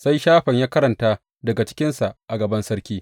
Sai Shafan ya karanta daga cikinsa a gaban sarki.